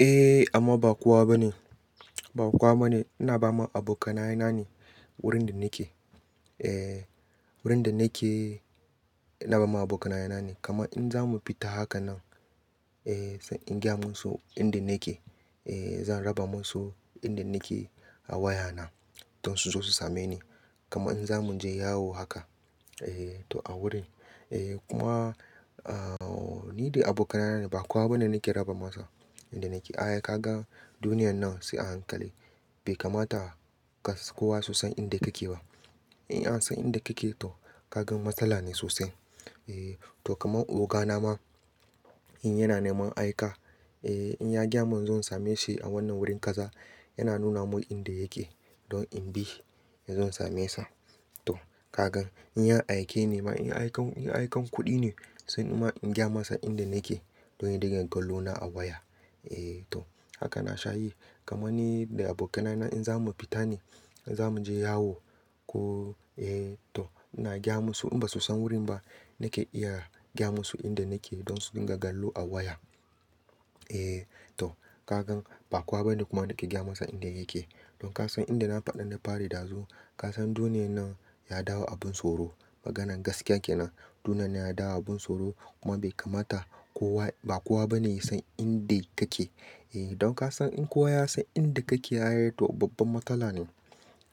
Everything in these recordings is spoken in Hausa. Eh amma ba kowa ba ne, ba kowa ba ne. Ina ba ma abokanaye na ne wurin da nake. Eh wurin da nake, ina ba ma abokanaye na ne. Kamar in za mu fita haka nan, eh sai in gaya musu inda nake. Eh zan raba musu inda nake a waya na don su zo su same ni. Kamar in za mu je yawo haka eh to a wurin eh. Eh kuma ah ni da abokanaye na ba kowa bane nake raba masa inda nake. Ai ka ga duniyar nan sai a hankali. Bai kamata kas kowa su san inda kake ba. In an san inda kake to kaga matsala ne sosai. Eh to kamar oga na ma in yana neman aika, eh in ya gaya mun inzo in same shi a wannan wurin kaza. Yana nuna mun inda yake don in bi, zan same sa. To kagan in ya aike ni ma in aikan, in aikan kuɗi ne sai nima in gaya masa inda nake don ya dinga kallona a waya. Eh to haka na sha yi. Kaman ni da abokanaye na in za mu fita ne, in za mu je yawo ko eh to ina gaya musu in basu san wurin ba. Nake iya gya musu inda nake don su ɗiga kallo a waya. Eh to ka gan ba kowa bane kuma nake gaya masa inda yake. Don ka san inda na faɗi na fari ɗazu. Ka san duniyar nan ya dawo abin tsoro. Maganan gaskiya kenan. Duniyar nan ya dawo abun tsoro kuma bai kamata kowa, ba kowa bane ya san inda kake. Eh don ka san in kowa ya san inda kake, ai to babban matsala ne.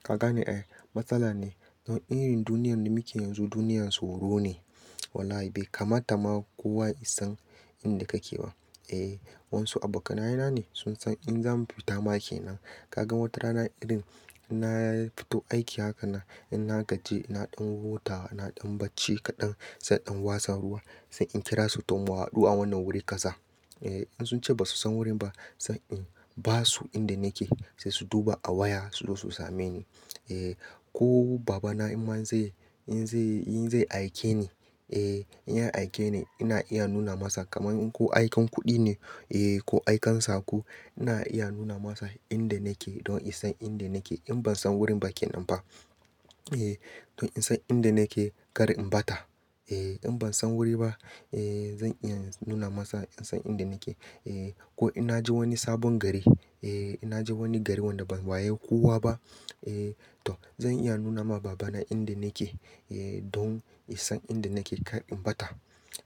Ka gane ai matsala ne. Don irin duniyar da muke yanzu, duniyar tsoro ne. Wallahi bai kamata ma kowa ya san inda kake ba. Eh wasu abokanaye na ne sun san in zamu fita ma kenan. Ka gan watarana irin na ya fito aiki haka nan, in na gaji na ɗan huta, na ɗan bacci kaɗan, sai in watsa ruwa. Sai in kira su to mu hadu a wannan wuri kaza. Eh in sun ce basu san wurin ba, sai in basu inda nake sai su duba a waya su zo su same ni. Eh ko babana inma in zai, in zai, in zai aike ni, eh in ya aike ni ina iya nuna masa kaman in ko aikan kuɗi ne eh ko aikan saƙo ina iya nuna masa inda nake don insan inda nake. In ban san wurin ba kenan fa. Eh don in san inda nake kar in ɓata. Eh in ban san wuri ba, eh zan iya nuna masa in san inda nake. Eh ko inna je wani sabon gari, eh inna je wani gari wanda ban waye kowa ba, eh to zan iya nuna ma babana inda nake eh don isan inda nake kar in ɓata.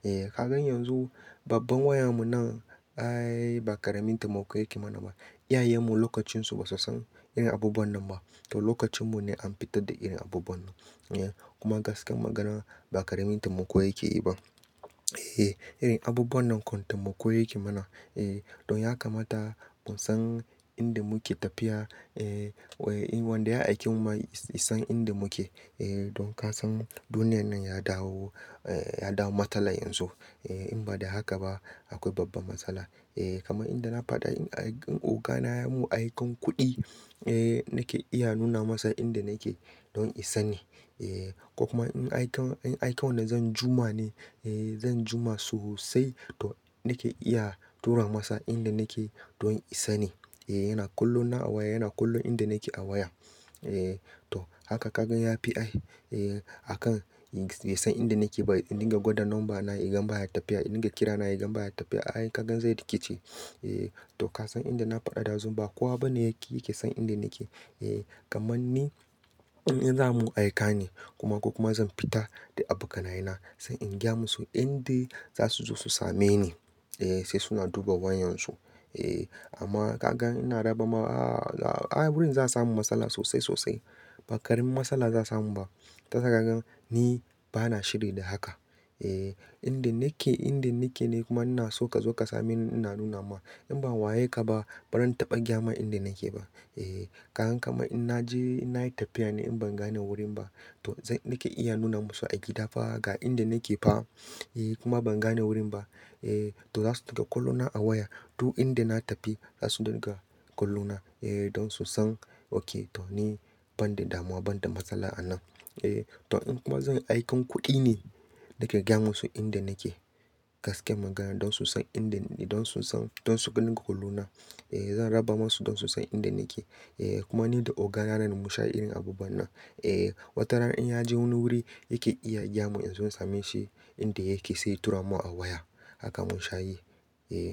Eh ka gan yanzu babbar wayan mu nan, ai ba ƙaramin taimako yake mana ba. Iyayen mu lokacin su basu san irin abubuwan nan ba. To lokacin mu ne an fitar da irin abubuwan nan. Eh kuma gaskiyar magana ba ƙaramin taimako yake yi ba. Eh irin abubuwan nan kam taimako yake mana. Eh don ya kamata musan inda muke tafiya. Eh Eh wanda ya aike mu ma isan inda muke. Eh don ka san duniyar nan ya dawo, eh ya dawo matsala yanzu. Eh in ba da haka ba akwai babba matsala. Eh kamar inda na faɗa in ai oga na ya mun aikan kuɗi, eh nake iya nuna masa inda nake don yasani Eh ko kuma in aikan, in aikan wanda zan juma ne, eh zan juma sosai to nake iya tura masa inda nake don yasani. Eh yana kullum na a waya, yana kullum inda nake a waya. Eh to haka ka gan ya fi ai eh akan bai san inda nake ba. In dinga gwada number na ya gan baya tafiya. In dinga kira na ya gan baya tafiya. Ai kagan zai rikice. Eh to ka san inda na faɗa ɗazu ba kowa bane yake, yake san inda nake. Eh kamanni in za'a mun aika ne kuma ko kuma zan fita da abokanaye na, sai in gaya musu inda za su zo su same ni. Eh sai suna duba wayan su. Eh amma ka gan ina raba ma ah ah ai wurin za'a samu matsala sosai sosai. Ba ƙarin matsala za a samu ba. Tasa ka ga ni bana shiri da haka. Eh inda nake, inda nake ne kuma ina so ka zo ka same ni inna nuna ma. In ban waye ka ba, baran taɓa gaya ma inda nake ba. Eh ka gan kaman in naje, inna yi tafiya ne in ban gane wurin ba to zan, nake iya nuna musu a gida fa ga inda nake fa. Eh kuma ban gane wurin ba. Eh to za su dinga kallona a waya. Duk inda na tafi za su dinga kallona eh don su san okay to ni ban da damuwa, ban da matsala a nan. Eh to in kuma zan aikan kuɗi ne, nake gaya musu inda nake. Gaskiyar magana don su san inda na don su san, don su dinga kallona. Eh zan raba masu don su san inda nake. Eh kuma ni da oga na nan mun sha irin abubuwan nan. Eh watarana in ya je wani wuri yake iya gaya mun inzo in same shi inda yake sai ya tura mun a waya. Haka mun sha yi. Eh.